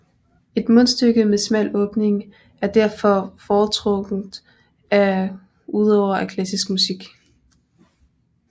Et mundstyke med smal åbning er derfor foretrukket af udøvere af klassisk musik